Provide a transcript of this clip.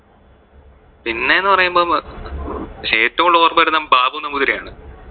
പിന്നെ എന്ന് പറയുമ്പോൾ അഹ് ബാബു നമ്പുതിരിയാണ്.